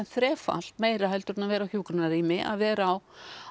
þrefalt meira heldur en að vera á hjúkrunarrými að vera á